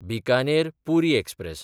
Bikaner Puri express